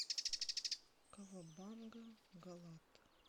кавабанга галат